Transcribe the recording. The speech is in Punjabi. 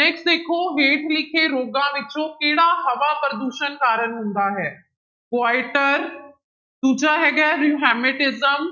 next ਦੇਖੋ ਹੇਠ ਲਿਖੇ ਰੋਗਾਂ ਵਿੱਚੋਂ ਕਿਹੜਾ ਹਵਾ ਪ੍ਰਦੂਸ਼ਣ ਕਾਰਨ ਹੁੰਦਾ ਹੈ ਕੁਆਈਟਰ ਦੂਜਾ ਹੈਗਾ ਹੈ rheumatism